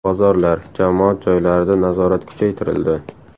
Bozorlar, jamoat joylarida nazorat kuchaytirildi.